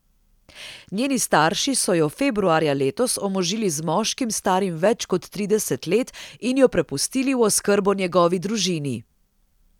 Njeni starši so jo februarja letos omožili z moškim, starim več kot trideset let in jo prepustili v oskrbo njegovi družini.